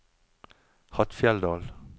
Hattfjelldal